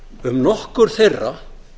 um nokkur þeirra